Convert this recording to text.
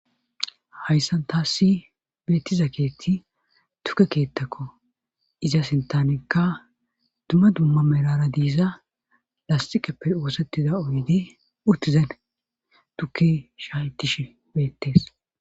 hayssan taassi beettiza keetti tukke keettakko iza sintanekka dumma dumma merara diiza lastiqeppe oosettida oydi urtizen tukki shayttish beettees